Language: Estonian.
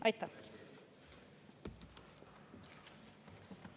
Aitäh!